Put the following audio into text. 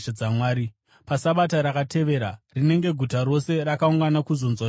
PaSabata rakatevera rinenge guta rose rakaungana kuzonzwa shoko raShe.